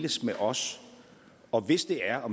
med os og hvis det er